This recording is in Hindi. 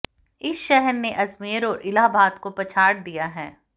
इस शहर ने अजमेर और इलाहाबाद को पछाड़ दिया है